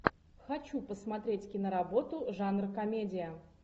хочу посмотреть киноработу жанр комедия